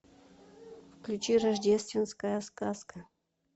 включи рождественская сказка